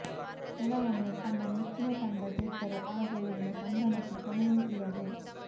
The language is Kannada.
ಕೆಲವೊಮ್ಮೆ ತಮ್ಮ ಮೆಚ್ಚಿನ ತಂಡ ಗೆದ್ದರೆ ಆ ಗೆಲುವಿನ ಸಂಭ್ರಮಕ್ಕೆ ಕೊನೆಯೇ ಇರದು